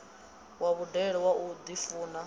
wa vhudele wa u ḓifuna